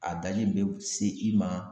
A daji in bɛɛ bɛ se i ma.